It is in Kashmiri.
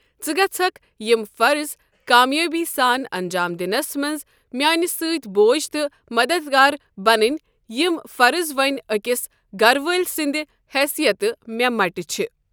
ژٕ گَژھکھ یِم فرض کامیٲبی سان انٛجام دِنس منٛز میٛانہ سۭتۍ بوج تہٕ مددگار بنٕنۍ یِم فرض وۄنۍ أکِس گرٕ وٲلۍ سٕنٛدِ حیثیتہ مےٚ مٹہ چھ۔